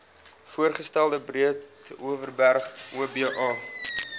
voorgestelde breedeoverberg oba